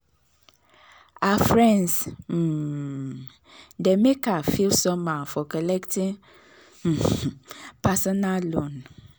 her friends um dey make her feel somehow for collecting um personal loan.